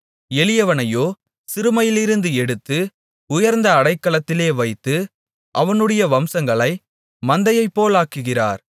எளியவனையோ சிறுமையிலிருந்து எடுத்து உயர்ந்த அடைக்கலத்திலே வைத்து அவனுடைய வம்சங்களை மந்தையைப்போலாக்குகிறார்